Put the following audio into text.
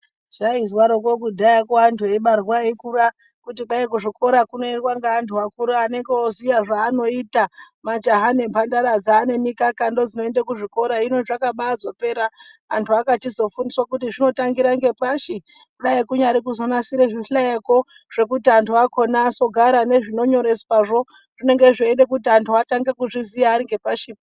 Zvai zwaroko kudhaya ko antu eibarwa eikura kuti kwai ku zvikora kuno endwa ne antu akura anonga oziya zva anoita majaha ne mbandara dzane mikaka ndo dzinoenda ku zvikora hino zvaka baizo pera antu akachizo fundiswe kuti zvotangira nge pashi dai kunyari kuzo nasire zvi hlayo ko zvekuti antu akona azogara nezvino nyoreswa zvo zvinenge zveida kuti antu atange ku zviziya ari nge pashi.